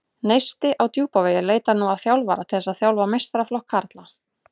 Neisti á Djúpavogi leitar nú að þjálfara til þess að þjálfa meistaraflokk karla.